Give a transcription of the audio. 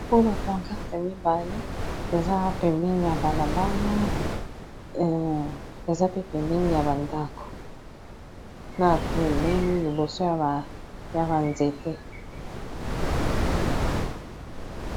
Po ba pancarte mibale eza pembeni ya balabala eza pe pembeni ya ba ndako na pembeni liboso ya ba nzete.